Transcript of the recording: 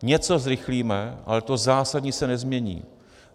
Něco zrychlíme, ale to zásadní se nezmění.